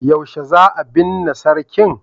yaushe za a binne sarkin?